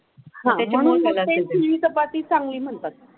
त्यामुळे तुम्ही चपाती चांगली म्हणतात.